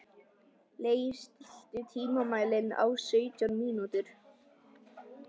Leif, stilltu tímamælinn á sautján mínútur.